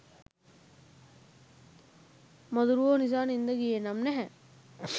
මදුරුවෝ නිසා නින්ද ගියේ නම් නැහැ.